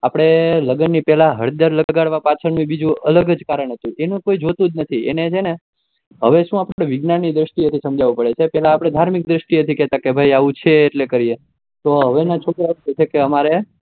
આપડે લગ્ન ના પહેલા હરદર લગાડવા પાછળ નું બીજું કઈ અલગ જ કારણે હતું એનું કઈ જોતું જ નથી એને છે ને હવે ઔ આપડે વિજ્ઞાન ની દ્રષ્ટિએ સમજવું પડે પેહલા ધાર્મિક દ્રષ્ટિ હતું કે આવુ છે એટલે કરીએ તો હવે ના છોકરો છ એકે હમારે